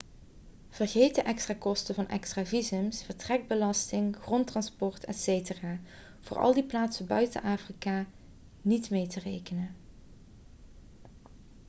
vergeet de extra kosten van extra visums vertrekbelasting grondtransport etc voor al die plaatsen buiten afrika niet mee te rekenen